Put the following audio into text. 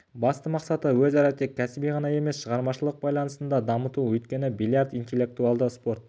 басты мақсаты өзара тек кәсіби ғана емес шығармашылық байланысын да дамыту өйткені бильярд интеллектуалды спорт